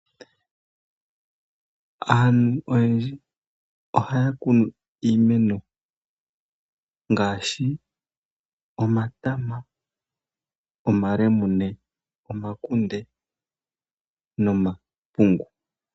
Aantu oyendji ohaya kunu iimeno ngaashi omatama, omalemune ,omakunde nomapungu.